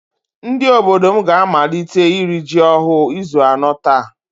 Ndị obodo m ga-amalite iri ji ọhụụ izu anọ taa